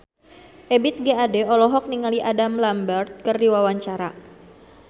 Ebith G. Ade olohok ningali Adam Lambert keur diwawancara